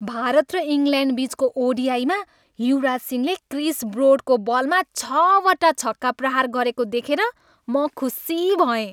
भारत र इङ्ल्यान्डबिचको ओडिआईमा युवराज सिंहले क्रिस ब्रोडको बलमा छवटा छक्का प्रहार गरेको देखेर म खुसी भएँ।